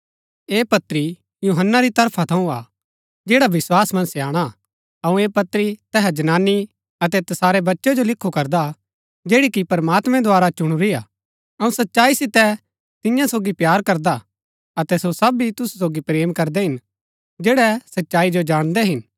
ऐह पत्री यूहन्‍ना री तरफा थऊँ हा जैडा विस्वास मन्ज स्याणा हा अऊँ ऐह पत्री तैहा जनानी अतै तसारै बच्चै जो लिखु करदा जैड़ी कि प्रमात्मैं द्वारा चुणुरी हा अऊँ सच्चाई सितै तिन्या सोगी प्‍यार करदा हा अतै सो सब भी तुसु सोगी प्रेम करदै हिन जैड़ै सच्चाई जो जाणदै हिन